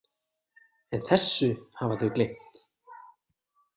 En þessu hafa þau gleymt.